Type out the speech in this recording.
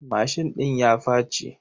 Mashin ɗin ya faci.